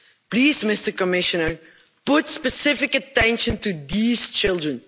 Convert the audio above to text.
Please, Commissioner, pay specific attention to these children.